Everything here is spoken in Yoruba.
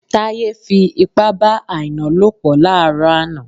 Táyé fi ipá bá Àìná lòpọ̀ láàrọ̀ àná